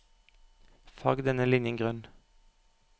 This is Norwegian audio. Farg denne linjen grønn